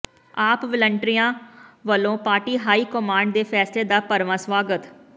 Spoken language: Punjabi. ਆਪ ਵਾਲੰਟੀਅਰਾਂ ਵੱਲੋ ਪਾਰਟੀ ਹਾਈ ਕਮਾਂਡ ਦੇ ਫੈਸਲੇ ਦਾ ਭਰਵਾਂ ਸਵਾਗਤ